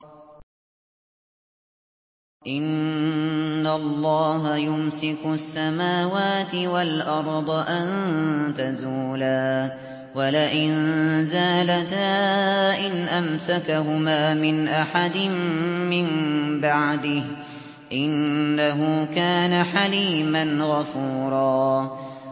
۞ إِنَّ اللَّهَ يُمْسِكُ السَّمَاوَاتِ وَالْأَرْضَ أَن تَزُولَا ۚ وَلَئِن زَالَتَا إِنْ أَمْسَكَهُمَا مِنْ أَحَدٍ مِّن بَعْدِهِ ۚ إِنَّهُ كَانَ حَلِيمًا غَفُورًا